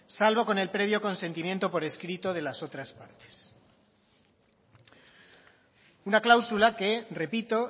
salvo con el previo consentimiento por escrito de las otras partes una cláusula que repito